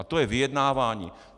A to je vyjednávání!